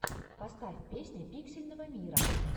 поставь песня пиксельного мира